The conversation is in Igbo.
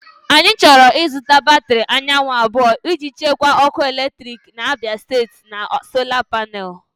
Anyị chọrọ ịzụta batrị anyanwụ abụọ iji chekwaa ọkụ eletrik na-abịa site na Sola Panel.